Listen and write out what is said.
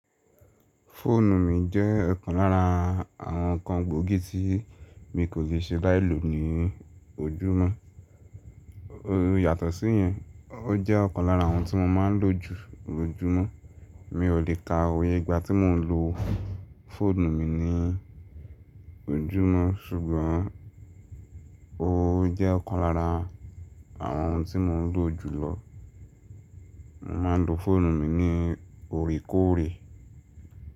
Fóònù mi jẹ́ ọ̀kan lára àwọn nǹkan gbóògì tí mi kò le ṣe láì lò ní ojúmọ́. O yàtọ̀ sí yẹn, o jẹ́ ọ̀kan lára àwọn tí mo máa ń lò jù lójúmọ́. Mi ò lè ka òye ìgbà tí mò ń lo fóònù mi ní ojúmọ́ ṣùgbọ́n ó jẹ́ ọ̀kan lára àwọn ohun tí mò ń lò jù lọ. Mo máa ń lo fóònù mi ní orekòorè.